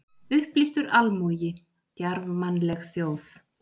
Upplýstur almúgi, djarfmannleg þjóð!